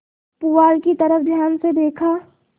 पुआल की तरफ ध्यान से देखा